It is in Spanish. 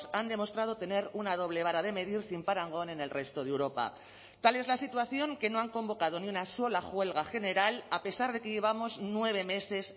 han demostrado tener una doble vara de medir sin parangón en el resto de europa tal es la situación que no han convocado ni una sola huelga general a pesar de que llevamos nueve meses